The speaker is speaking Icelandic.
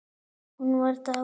Hún var dáin.